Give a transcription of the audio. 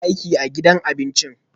Ee, ina aiki a gidan abincin